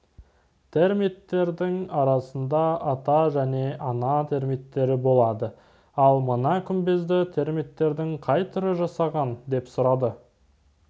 термиттердің арасында ата және ана термиттері болады ал мына күмбезді термиттердің қай түрі жасаған деп сұрады